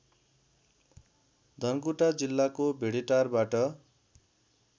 धनकुटा जिल्लाको भेडेटारबाट